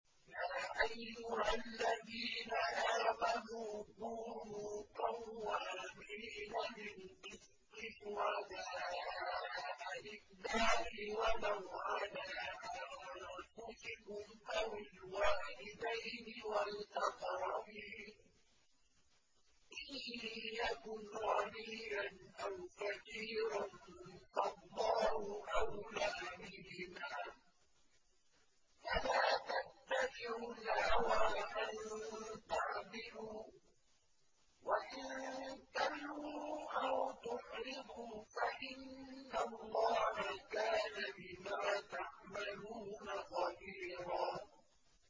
۞ يَا أَيُّهَا الَّذِينَ آمَنُوا كُونُوا قَوَّامِينَ بِالْقِسْطِ شُهَدَاءَ لِلَّهِ وَلَوْ عَلَىٰ أَنفُسِكُمْ أَوِ الْوَالِدَيْنِ وَالْأَقْرَبِينَ ۚ إِن يَكُنْ غَنِيًّا أَوْ فَقِيرًا فَاللَّهُ أَوْلَىٰ بِهِمَا ۖ فَلَا تَتَّبِعُوا الْهَوَىٰ أَن تَعْدِلُوا ۚ وَإِن تَلْوُوا أَوْ تُعْرِضُوا فَإِنَّ اللَّهَ كَانَ بِمَا تَعْمَلُونَ خَبِيرًا